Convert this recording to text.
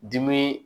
Dimi